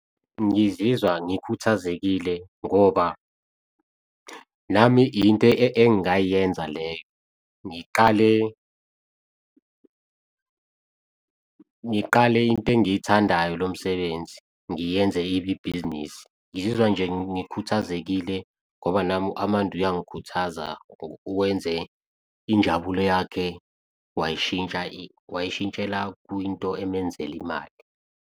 Ngizizwa ngikhuthazekile ngoba nami into engayenza leyo, ngiqale into engiyithandayo lo msebenzi ngiyenze ibe ibhizinisi. Ngizizwa nje ngikhuthazekile ngoba nami u-Amanda uyangikhuthaza, wenze injabulo yakhe wayishintsha, wangishintshela kwinto emenzela imali.